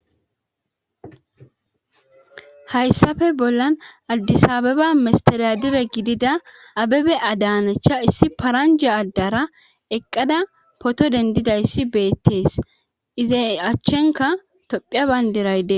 hayssafe bollan addisaabeba misteriya dire gidida abebe adaanacha issi paranja addara eqqada poto dendidayssi beettees izay achchenka tophiya bayndiraydee